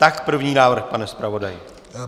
Tak první návrh, pane zpravodaji.